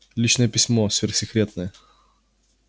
личное письмо сверхсекретное